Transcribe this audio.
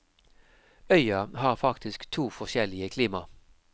Øya har faktisk to forskjellige klima.